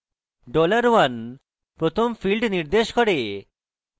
$1 dollar 1 প্রথম field নির্দেশ করে